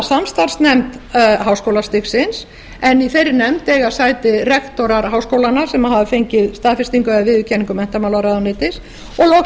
samstarfsnefnd háskólastigsins en í þeirri nefnd eiga sæti rektorar háskólanna sem hafa fengið staðfestingu eða viðurkenningu menntamálaráðuneytis og loks